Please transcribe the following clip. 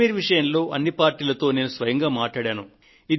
కశ్మీర్ విషయంలో అన్ని పార్టీలతో నేను స్వయంగా మాట్లాడాను